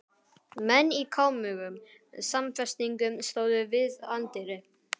Menn í kámugum samfestingum stóðu við anddyri.